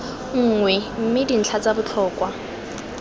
nngwe mme dintlha tsa botlhokwa